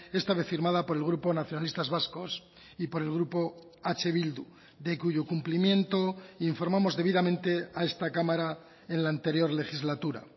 esta vez firmada por el grupo nacionalistas vascos y por el grupo eh bildu de cuyo cumplimiento informamos debidamente a esta cámara en la anterior legislatura